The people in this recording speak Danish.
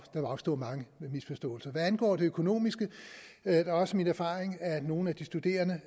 vil opstå mange misforståelser hvad angår det økonomiske er det også min erfaring at nogle af de studerende